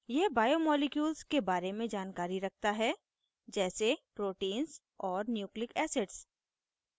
यह बायोमॉलिक्यूल्स के बारे में जानकारी रखता है जैसे proteins और nucleic acids